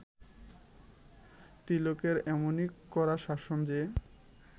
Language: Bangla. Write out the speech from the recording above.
তিলকের এমনই কড়া শাসন যে